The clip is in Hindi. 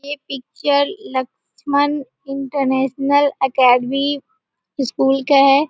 ये picture Laxman international academy school का है।